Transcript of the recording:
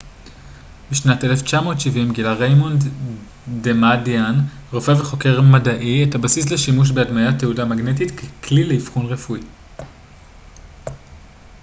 בשנת 1970 גילה ריימונד דמאדיאן רופא וחוקר מדעי את הבסיס לשימוש בהדמיית תהודה מגנטית ככלי לאבחון רפואי